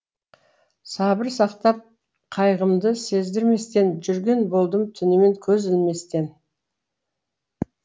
сабыр сақтап қайғымды сездірместен жүрген болдым түнімен көз ілместен